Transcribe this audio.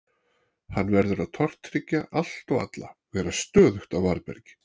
Hann verður að tortryggja allt og alla, vera stöðugt á varðbergi.